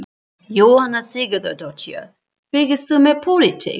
Jóhanna Sigurðardóttir: Fylgist þú með pólitík?